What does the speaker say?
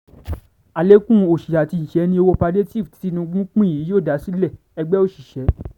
alẹ́kùn òsì àti ìṣẹ́ ni owó pàdétììfù tí tìtúngbù ń pín yìí yóò dá sílẹ̀- ẹgbẹ́ òṣìṣẹ́